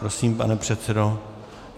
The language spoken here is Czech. Prosím, pane předsedo.